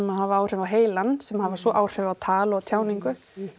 hafa áhrif á heilann sem hafa svo áhrif á tal og tjáningu